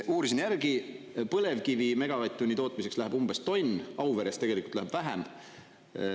Uurisin järgi, põlevkivi megavatt-tunni tootmiseks läheb umbes tonn, Auveres tegelikult läheb vähem.